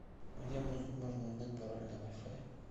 где можно узнать пароль для вай фая